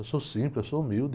Eu sou simples, eu sou humilde.